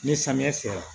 Ni samiya sera